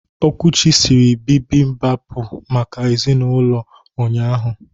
Okwuchi siri bibibapu maka ezinulo ụnyahụ.